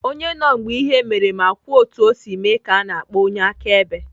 Onye nọ mgbe ihe mere ma kwuo otu o si mee ka ana akpọ onye akaebe.